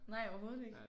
Nej overhovedet ikke